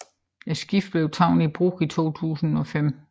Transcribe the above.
Skibet blev taget i brug i april 2005